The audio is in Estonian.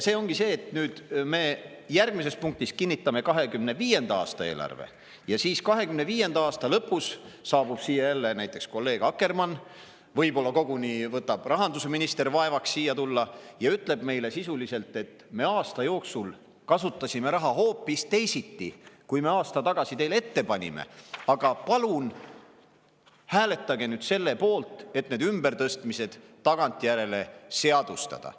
See ongi see, et nüüd me järgmises punktis kinnitame 2025. aasta eelarve ja siis 2025. aasta lõpus saabub siia jälle näiteks kolleeg Akkermann, võib-olla koguni võtab rahandusminister vaevaks siia tulla, ja ütleb meile sisuliselt nii: "Me aasta jooksul kasutasime raha hoopis teisiti, kui me aasta tagasi teile ette panime, aga palun hääletage nüüd selle poolt, et need ümbertõstmised tagantjärele seadustada.